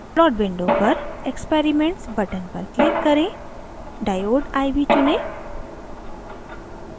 plot window पर experiments button पर click करें diode iv चुनें